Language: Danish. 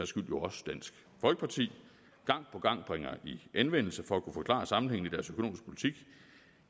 skyld jo også dansk folkeparti gang på gang bringer i anvendelse for at kunne forklare sammenhængen